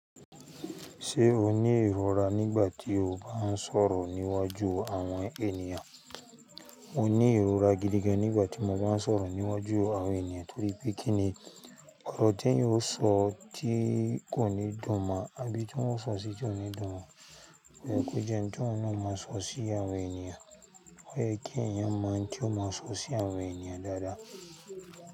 Ṣé o ní ìrora nígbà tí o bá ń sọ̀rọ̀ níwájú àwọn ènìyàn? Mo ní ìrora gidi gan nígbà tí mo bá ń sọ̀rọ̀ níwájú àwọn ènìyàn, torí pé kí ni ọ̀rọ̀ t'èèyàn ó sọ tí kò ní dùn mọ́ Abí tí wọ́n o sọ sí ti ó ní dùn mọ́. Oyẹ́ ko jẹ́ ohun tí ohun náa o màa sọ sí àwọn ènìyàn. Òyẹ́ kí èèyàn mọ ohun tí ó máa sọ sí àwọn ènìyàn dáadáa.